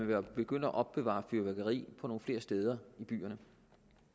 vil begynde at opbevare fyrværkeri flere steder i byerne